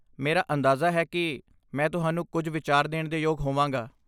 ਮੇਰਾ ਅੰਦਾਜ਼ਾ ਹੈ ਕਿ ਮੈਂ ਤੁਹਾਨੂੰ ਕੁਝ ਵਿਚਾਰ ਦੇਣ ਦੇ ਯੋਗ ਹੋਵਾਂਗਾ।